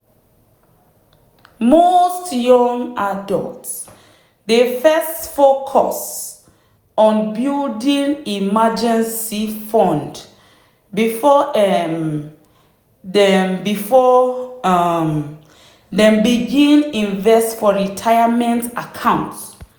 most young adults dey first focus on building emergency fund before um dem before um dem begin invest for retirement account.